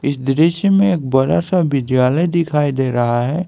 इस दृश्य में एक बड़ा सा विद्यालय दिखाई दे रहा है।